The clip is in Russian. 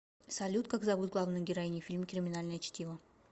салют как зовут главную героиню в фильме криминальное чтиво